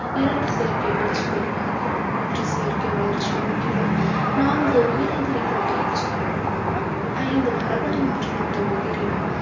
இரண்டு செயற்கை பூச்சிக்கொல்லி மருந்துகள் மூன்று செயற்கை வளர்ச்சி மூக்கிகள் நான்கு கொண்ட எச்சங்கள் ஐந்து மரபணு மாற்றப்பட்ட உயிரினம்